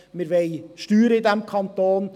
Wir wollen Steuern in diesem Kanton.